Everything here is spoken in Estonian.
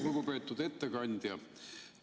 Lugupeetud ettekandja!